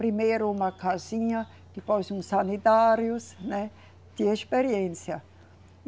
Primeiro uma casinha, depois uns sanitários, né, de experiência.